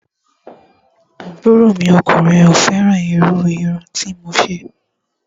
Àbúrò mi ọkùnrin ò fẹ́ràn irú irun tí ó ṣe